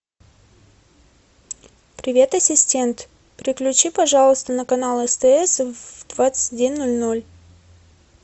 привет ассистент переключи пожалуйста на канал стс в двадцать один ноль ноль